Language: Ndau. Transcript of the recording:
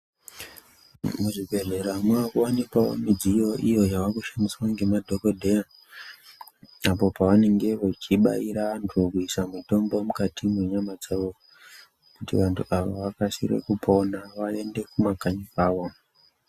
Muzvibhedhleya mava kuwanikwawo midziyo iyo yava kushandiswa ngemadhokodheya apo pavanenge vachibaira vantu kuisa mitombo mukati mwenyama dzavo kuti vantu avo vakasire kupona vaende kumakanyi kwavo.